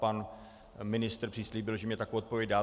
Pan ministr přislíbil, že mně takovou odpověď dá.